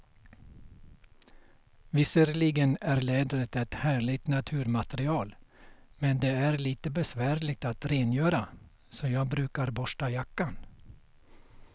Visserligen är läder ett härligt naturmaterial, men det är lite besvärligt att rengöra, så jag brukar borsta jackan.